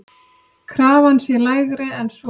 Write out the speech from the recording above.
Krafan sé lægri en svo.